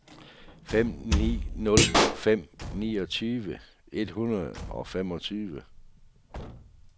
fem ni nul fem niogtyve et hundrede og femogtyve